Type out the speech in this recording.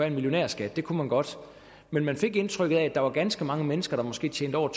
en millionærskat det kunne man godt men man fik indtrykket af at der var ganske mange mennesker der måske tjente over